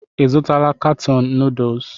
Ị zụtala katọn nuduls?